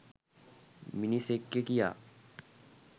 මිනිසෙක්ය කියා.